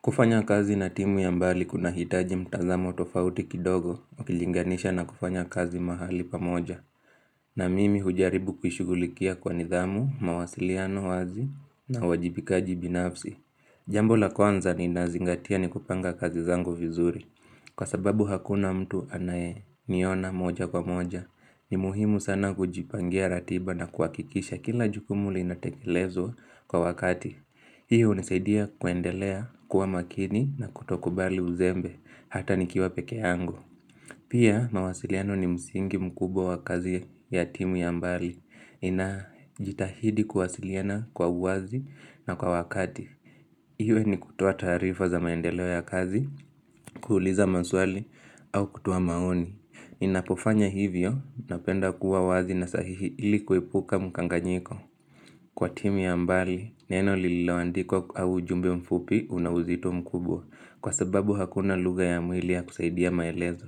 Kufanya kazi na timu ya mbali kunahitaji mtazamo tofauti kidogo, ukilinganisha na kufanya kazi mahali pa moja, na mimi hujaribu kuishugulikia kwa nidhamu, mawasiliano wazi, na uwajibikaji binafsi. Jambo la kwanza ninazingatia ni kupanga kazi zangu vizuri, kwa sababu hakuna mtu anayeniona moja kwa moja. Ni muhimu sana kujipangia ratiba na kuhakikisha kila jukumu linatekelezwa kwa wakati. Hiyo hunisaidia kuendelea kuwa makini na kutokubali uzembe hata nikiwa peke yangu Pia mawasiliano ni msingi mkubwa wa kazi ya timu ya mbali inajitahidi kuwasiliana kwa uwazi na kwa wakati. Hiyo ni kutoa taarifa za maendeleo ya kazi, kuuliza maswali au kutoa maoni. Inapofanya hivyo napenda kuwa wazi na sahihi ili kuepuka mkanganyiko. Kwa timu ya mbali, neno lililoandikwa au jumbe mfupi una uzito mkubwa Kwa sababu hakuna luga ya mwili ya kusaidia maelezo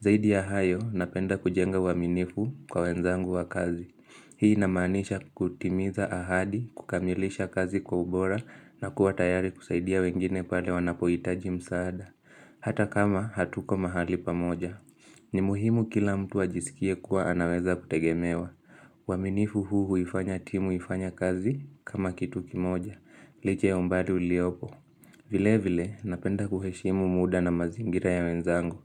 Zaidi ya hayo, napenda kujenga uaminifu kwa wenzangu wa kazi Hii inamanisha kutimiza ahadi, kukamilisha kazi kwa ubora na kuwa tayari kusaidia wengine pale wanapohitaji msaada Hata kama hatuko mahali pamoja ni muhimu kila mtu ajisikie kuwa anaweza kutegemewa uaminifu huu huifanya timu ifanya kazi kama kitu kimoja Liche ya umbali u liopo vile vile napenda kuheshimu muda na mazingira ya wenzangu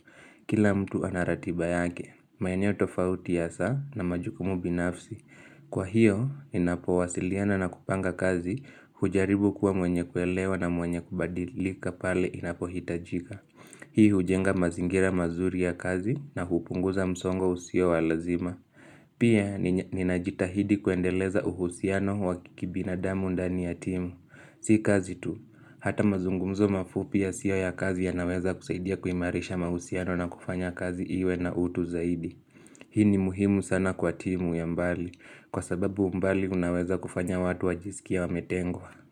Kila mtu anaratiba yake maeneo tofauti hasa na majukumu binafsi Kwa hiyo inapo wasiliana na kupanga kazi hujaribu kuwa mwenye kuelewa na mwenye kubadilika pale inapohitajika Hii hujenga mazingira mazuri ya kazi na hupunguza msongo usio wa lazima Pia ninajitahidi kuendeleza uhusiano wa kibinadamu ndani ya timu Si kazi tu, hata mazungumzo mafupi yasio ya kazi yanaweza kusaidia kuimarisha mahusiano na kufanya kazi iwe na utu zaidi Hii ni muhimu sana kwa timu ya mbali Kwa sababu mbali unaweza kufanya watu wajisikie wametengwa.